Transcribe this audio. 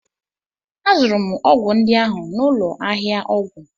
Azụrụ m ọgwụ ndị ahụ n'ụlọ ahịa ọgwụ